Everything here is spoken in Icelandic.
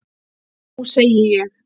Nú segi ég.